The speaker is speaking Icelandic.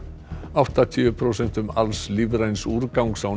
áttatíu prósentum alls lífræns úrgangs á